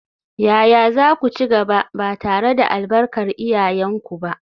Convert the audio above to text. Yaya za ku ci gaba, ba tare da albarkar iyayenku ba?